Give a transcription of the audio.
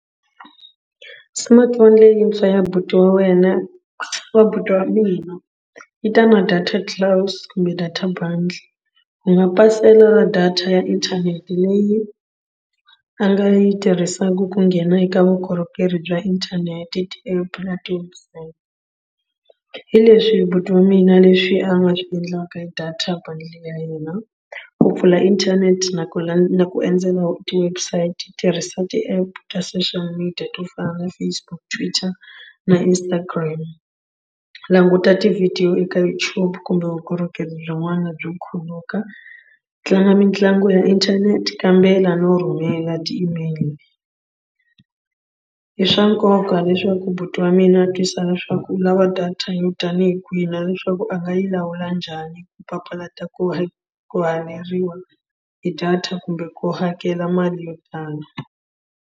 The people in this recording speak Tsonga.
Smartphone leyintshwa ya buti wa wena ya buti wa mina yi ta na data kumbe data bundle ku nga pasela ra data ya inthanete leyi a nga yi tirhisaka ku nghena eka vukorhokeri bya inthanete ti-app na ti-website. Hi leswi buti wa mina leswi a nga swi endlaka hi data bundle ya hina ku pfula inthanete na ku la na ku endzela ti-website tirhisa ti-app ta social media to fana na Facebook, Twitter na Instagram languta tivhidiyo eka YouTube kumbe vukorhokeri byin'wana byo khuluka tlanga mitlangu ya inthanete kambela no rhumela ti-email. I swa nkoka leswaku buti wa mina a twisisa leswaku u lava data yo tanihi kwihi na leswaku a nga yi lawula njhani ku papalata ku hi ku haveriwa hi data kumbe ku hakela mali yo tala.